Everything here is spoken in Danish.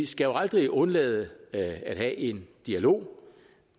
skal jo aldrig undlade at have en dialog